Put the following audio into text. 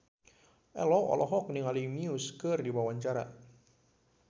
Ello olohok ningali Muse keur diwawancara